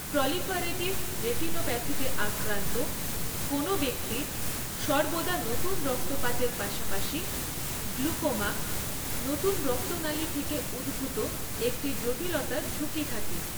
Proliferative রেটিনোপ্যাথিতে আক্রান্ত কোনও ব্যক্তির সর্বদা নতুন রক্তপাতের পাশাপাশি গ্লুকোমা, নতুন রক্তনালী থেকে উদ্ভুত একটি জটিলতার ঝুঁকি থাকে।